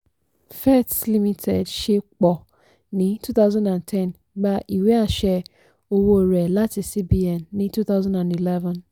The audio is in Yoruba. fets limited ṣé pọ ní 2010 gba ìwé-àṣẹ owó rẹ̀ láti cbn ní 2011.